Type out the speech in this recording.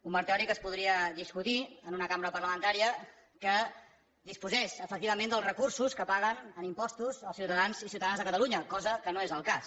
un marc teòric es podria discutir en una cambra parlamentària que disposés efectivament dels recursos que paguen en impostos els ciutadans i ciutadanes de catalunya cosa que no és el cas